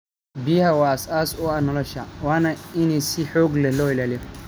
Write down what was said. Biyaha waa aas aas u ah nolosha, waana in si xoog leh loo ilaaliyo.